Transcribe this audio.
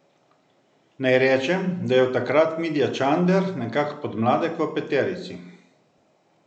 Naj rečem, da je od takrat Mitja Čander nekak podmladek v peterici.